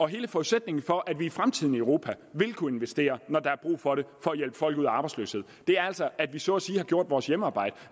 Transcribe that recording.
hele forudsætningen for at vi i fremtiden i europa vil kunne investere når der er brug for det for at hjælpe folk ud af arbejdsløshed er altså at vi så at sige har gjort vores hjemmearbejde